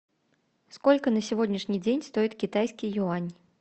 сколько на сегодняшний день стоит китайский юань